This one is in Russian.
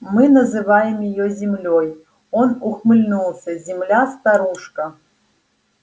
мы называем её землёй он ухмыльнулся земля-старушка